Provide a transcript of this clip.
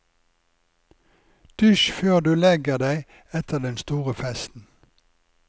Dusj før du legger deg etter den store festen.